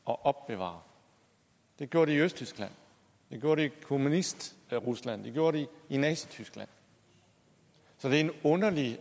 og opbevarer det gjorde de i østtyskland det gjorde de i kommunistrusland og det gjorde de i nazityskland så det er en underlig